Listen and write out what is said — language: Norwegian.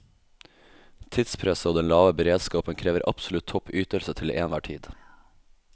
Tidspresset og den lave beredskapen krever absolutt topp ytelse til enhver tid.